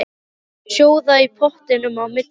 Látið sjóða í pottinum á milli.